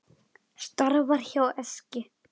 Starfar hjá Eskju.